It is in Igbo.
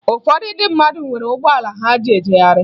Ụfọdụ ndị mmadụ nwere ụgbọala ha ji ejegharị